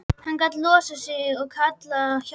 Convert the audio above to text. Hann gat losað sig og kallað á hjálp.